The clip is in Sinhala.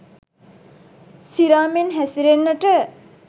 සිරා මෙන් හැසිරෙන්නට